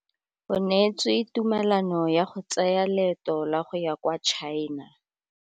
O neetswe tumalanô ya go tsaya loetô la go ya kwa China.